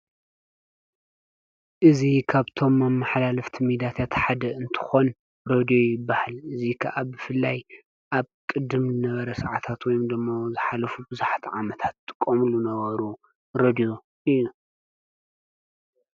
እዙ ኻብቶም ኣብ መሓላልፍቲ ሚዳት ያተሓደ እንትኾን ሮድዮ ይባህል እዙ ከኣብፍላይ ኣብ ቅድም ነበረ ሰዓታት ወይምደሞ ዝኃለፉ ብዙሕተ ዓመታት ጥቆምሉ ነበሩ ረድዮ እዩ።